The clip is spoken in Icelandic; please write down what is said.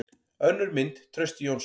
Önnur mynd: Trausti Jónsson.